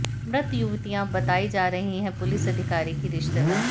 मृत युवतियां बतायी जा रही हैं पुलिस अधिकारी की रिश्तेदार